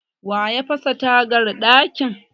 waye ya fasa tagar dakin?